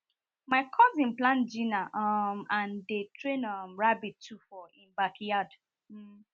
my cousin plant giner um and dey train um rabbit too for e backyard